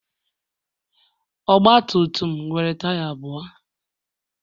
Ogbatumtum nwere taya abụọ